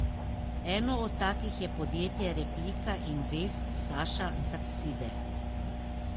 Eno od takih je podjetje Replika Invest Saša Sakside.